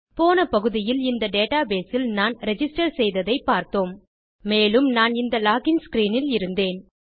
போன பகுதியில் இந்த டேட்டாபேஸ் இல் நான் ரிஜிஸ்டர் செய்ததை பார்த்தோம் மேலும் நான் இந்த லோகின் ஸ்க்ரீன் இல் இருந்தேன்